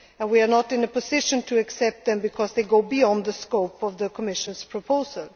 to amend. We are not in a position to accept them because they go beyond the scope of the Commission's